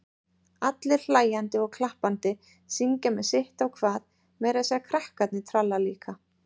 Allir hlæjandi og klappandi, syngja með sitt á hvað, meira að segja krakkarnir tralla líka.